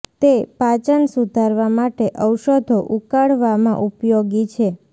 તે પાચન સુધારવા માટે ઔષધો ઉકાળવામાં ઉપયોગી છે